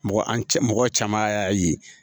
Mɔgɔ an cɛ mɔgɔ caman y'a ye